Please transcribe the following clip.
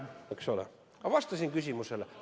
Ma vastasin küsimusele.